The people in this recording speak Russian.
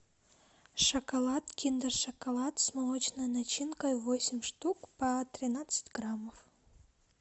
шоколад киндер шоколад с молочной начинкой восемь штук по тринадцать граммов